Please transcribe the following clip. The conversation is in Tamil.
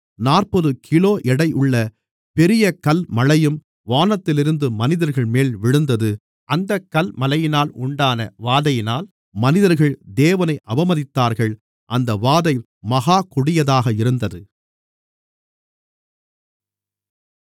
நாற்பது கிலோ எடையுள்ள பெரிய கல்மழையும் வானத்திலிருந்து மனிதர்கள்மேல் விழுந்தது அந்தக் கல்மழையினால் உண்டான வாதையினால் மனிதர்கள் தேவனை அவமதித்தார்கள் அந்த வாதை மகா கொடியதாக இருந்தது